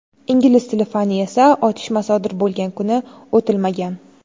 Ingliz tili fani esa otishma sodir bo‘lgan kuni o‘tilmagan.